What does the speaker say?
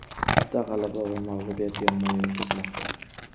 Bizda g‘alaba va mag‘lubiyat yonma-yon ketmoqda.